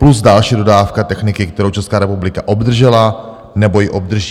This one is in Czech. Plus další dodávka techniky, kterou Česká republika obdržela nebo ji obdrží.